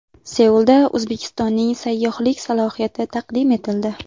Seulda O‘zbekistonning sayyohlik salohiyati taqdim etildi.